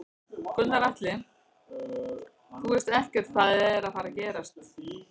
Gunnar Atli: Þú veist ekkert hvað er að fara gerast Jón?